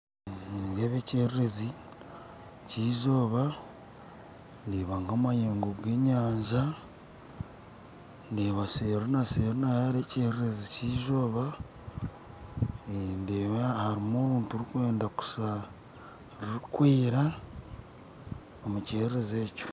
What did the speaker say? Nindeeba ekyererezi ky'eizooba ndeeba nk'amayengo g'enyanja ndeeba seri na seri naho hariyo ekyererezi ky'eizooba eeh ndeeba harumu oruntu rukwenda kushaa rukwera omukyererezi ekyo.